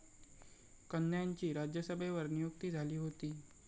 कन्यांची राज्यसभेवर नियुक्ती झाली होती.